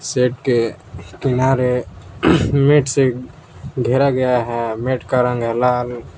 Shade के किनारे mat से घेरा गया है मेट का रंग है लाल।